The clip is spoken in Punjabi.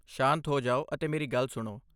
ਸ਼ਾਂਤ ਹੋ ਜਾਓ ਅਤੇ ਮੇਰੀ ਗੱਲ ਸੁਣੋ।